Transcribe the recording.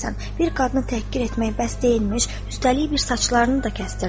Kimə söyləyəsən, bir qadını təhqir etmək bəs deyilmiş, üstəlik bir saçlarını da kəstirdi.